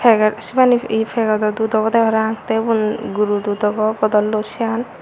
peget sibani yi pegedo dud obowde parapang te ubun guru dud obow bodollo siyan.